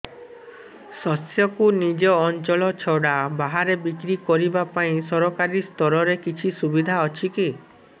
ଶସ୍ୟକୁ ନିଜ ଅଞ୍ଚଳ ଛଡା ବାହାରେ ବିକ୍ରି କରିବା ପାଇଁ ସରକାରୀ ସ୍ତରରେ କିଛି ସୁବିଧା ଅଛି କି